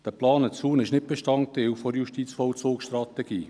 Dieser geplante Zaun ist nicht Teil der Justizvollzugsstrategie.